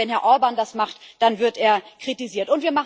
Aber wenn Herr Orbán das macht, dann wird er kritisiert.